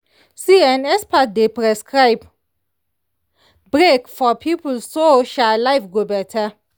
see[um]experts dey precribe break for people so um life go better.